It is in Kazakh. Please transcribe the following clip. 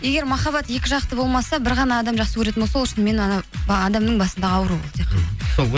егер махаббат екі жақты болмаса бір ғана адам жақсы көретін болса ол шынымен анау адамның басындағы ауруы ол